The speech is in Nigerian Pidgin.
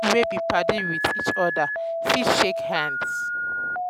pipo wey be padi with each oda oda fit shake hands